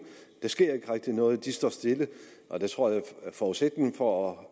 der sker ikke rigtig noget de står stille jeg tror at forudsætningen for